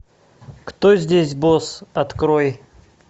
кто здесь босс открой